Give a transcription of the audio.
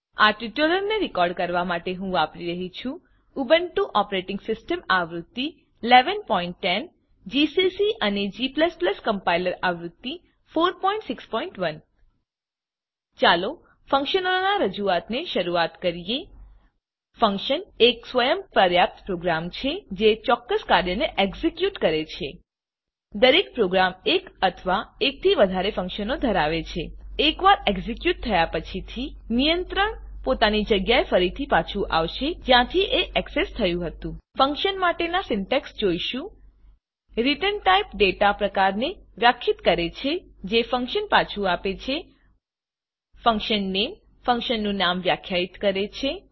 આ ટ્યુટોરીયલને રેકોર્ડ કરવાં માટે હું વાપરી રહ્યી છુ ઉબુન્ટુ ઓપરેટીંગ સીસ્ટમ આવૃત્તિ 1110 જીસીસી અને g કમ્પાઈલર આવૃત્તિ 461 ચાલો ફંક્શનોનાં રજૂઆત સાથે શરૂઆત કરીએ ફંકશન એક સ્વયં પર્યાપ્ત પ્રોગ્રામ છે જે ચોક્કસ કાર્યને એક્ઝેક્યુટ કરે છે દરેક પ્રોગ્રામ એક અથવાં એકથી વધારે ફંક્શનો ધરાવે છે એકવાર એક્ઝેક્યુટ થયા પછીથી નિયંત્રણ પોતાની જગ્યાએ ફરી પાછું આવશે જ્યાંથી એ એક્સેસ થયું હતું ફંક્શન માટેનાં સિન્ટેક્ષ જોઈશું ret ટાઇપ ડેટા પ્રકારને વ્યાખ્યાયિત કરે છે જે ફંક્શન પાછું આપે છે fun name ફંક્શનનું નામ વ્યાખ્યાયિત કરે છે